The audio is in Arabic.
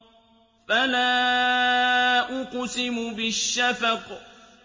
فَلَا أُقْسِمُ بِالشَّفَقِ